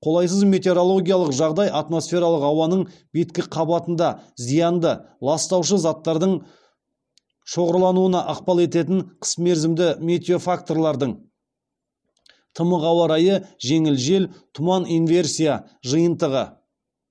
қолайсыз метеорологиялық жағдай атмосфералық ауаның беткі қабатында зиянды заттардың шоғырлануына ықпал ететін қысмерзімді метеофакторлардың жиынтығы